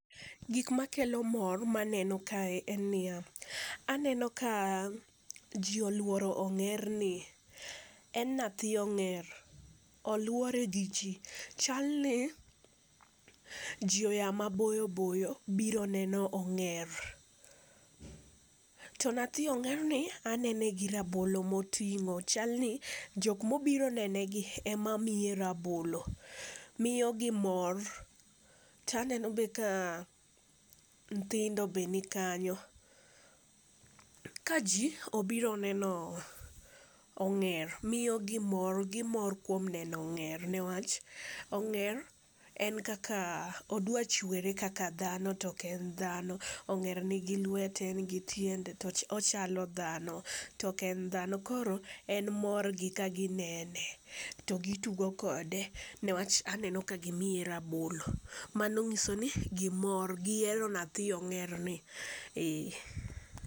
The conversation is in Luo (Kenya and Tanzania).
Gik makelo mor ma aneno kae en ni ya, aneno ka ji olworo ong'erni. En nathi ong'er, olwore gi ji, chalni ji oya maboyo boyo biro neno ong'er. To nathi ong'erni anene gi rabolo moting'o, chalni jok mobiro nene gi emamiye rabolo. Miyogi mor. Taneno be ka nthindo be nikanyo. Ka ji obiro neno ong'er miyogi mor, gimor kuom neno ong'er newach ong'er en kaka dhano odwa chwere kaka dhano to ok en dhano. Ong'er nigi lwete, migi tiende to ochalo dhano to ok en dhano, koro en mor gi ka ginene to gitugo kode newach aneno ka gimiye rabolo. Mano nyiso ni gimor, gihero nathi ong'erni. Ee.